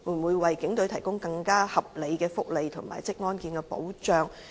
會否為警隊提供更合理的福利和職安健保障？